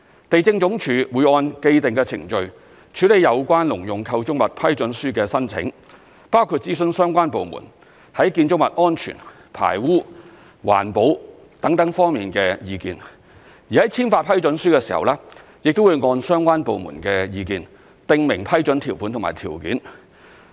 地政總署會按既定程序，處理有關農用構築物批准書的申請，包括諮詢相關部門在建築物安全、排污、環保等方面的意見，而在簽發批准書的時候，亦會按相關部門的意見訂明批准條款及條件。